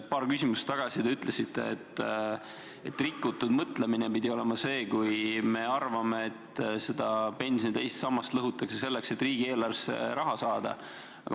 Paar küsimust tagasi te ütlesite, et see on rikutud mõtlemine, kui me arvame, et pensioni teist sammast lõhutakse selleks, et riigieelarvesse raha saada.